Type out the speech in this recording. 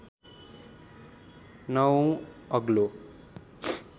नवौँ अग्लो